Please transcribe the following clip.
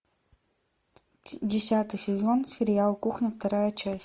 десятый сезон сериал кухня вторая часть